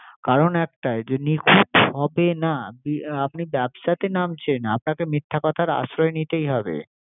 কারন একটাই নিখুত হবে না আপনি ব্যবসাতে নামছেন। আপনাকে মিথ্যা কথার আশ্রয় নিতে হবে।